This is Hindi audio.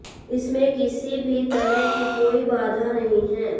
इसमें किसी भी तरह की कोई बाधा नहीं है